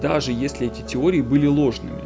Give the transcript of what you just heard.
даже если эти теории были ложными